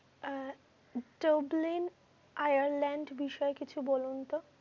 আহ Tumbling ireland বিষয়ে কিছু বলন তো?